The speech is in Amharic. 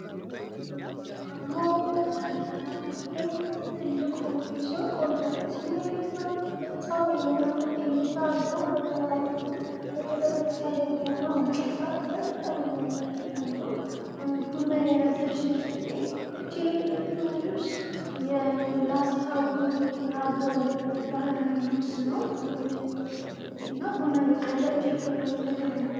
ይሄ ደግሞ በላሊበላ የሚገኝ ትልቅ ሆቴል ሲሆን ኦልድ አቢሲኒያ ይባላል። በጣም የሚያምር እይታ አለው። በተራሮቹ በተለይ በፀሐይ መግቢያ እና መውጫ ሰዓት ላይ በጣም የሚያምር እይታ አለው። ቡና የያዘች ልጅ ትገኛለች የለበሰችው ልብስ የላስታ ወይም የአገው ባህላዊ ልብስ ነው። እና ቡና እየቀዳች ይገኛል ከጀበና ላይ።